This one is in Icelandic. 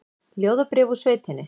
Ljóðabréf úr sveitinni